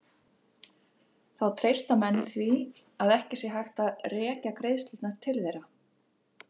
Þá treysta menn því að ekki sé hægt að rekja greiðslurnar til þeirra.